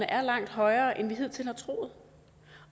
er langt højere end vi hidtil har troet